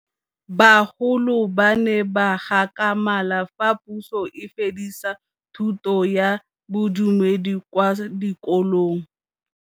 Bagolo ba ne ba gakgamala fa Pusô e fedisa thutô ya Bodumedi kwa dikolong.